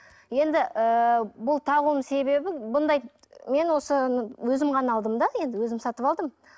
енді ыыы бұл тағуымның себебі бұндай мен осыны өзім ғана алдым да енді өзім сатып алдым